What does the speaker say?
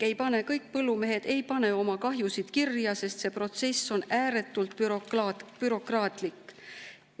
Kõik põllumehed ei pane oma kahjusid kirja, sest see protsess on ääretult bürokraatlik.